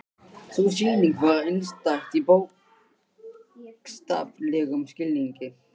Sú sýning var einstæð í bókstaflegum skilningi.